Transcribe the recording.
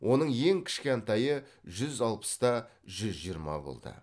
оның ең кішкентайы жүз алпыс та жүз жиырма болды